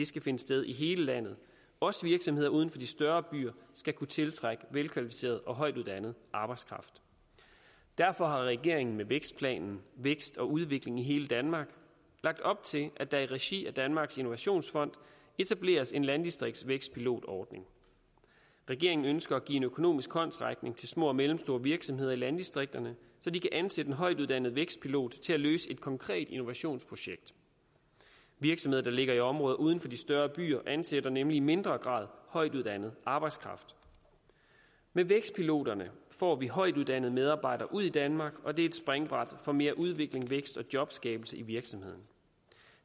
skal finde sted i hele landet også virksomheder uden for de større byer skal kunne tiltrække velkvalificeret og højtuddannet arbejdskraft derfor har regeringen med vækstplanen vækst og udvikling i hele danmark lagt op til at der i regi af danmarks innovationsfond etableres en landdistriktsvækstpilotordning regeringen ønsker at give en økonomisk håndsrækning til små og mellemstore virksomheder i landdistrikterne så de kan ansætte en højtuddannet vækstpilot til at løse et konkret innovationsprojekt virksomheder der ligger i områder uden for de større byer ansætter nemlig i mindre grad højtuddannet arbejdskraft med vækstpiloterne får vi højtuddannede medarbejdere ud i danmark og det er et springbræt for mere udvikling vækst og jobskabelse i virksomhederne